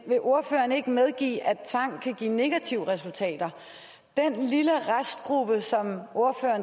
vil ordføreren ikke medgive at tvang også kan give negative resultater den lille restgruppe som